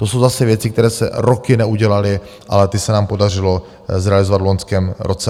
To jsou zase věci, které se roky neudělaly, ale ty se nám podařilo zrealizovat v loňském roce.